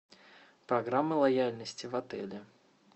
программа лояльности в отеле